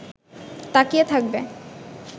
তাকিয়ে থাকবে